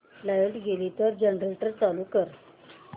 light गेली तर generator चालू कर